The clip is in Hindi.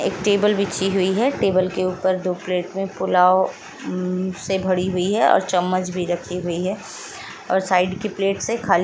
एक टेबल बिछी हुई है। टेबल के ऊपर दो प्लेट में पुलाव से भरी हुई है और चम्मच भी रखी हुई है और साइड की प्लेट से खाली --